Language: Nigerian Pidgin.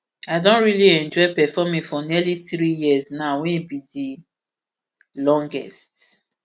i don really enjoy performing for nearly three years now wey be di longest